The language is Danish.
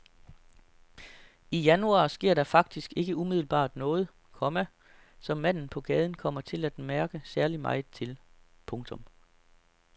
I januar sker der faktisk ikke umiddelbart noget, komma som manden på gaden kommer til at mærke særlig meget til. punktum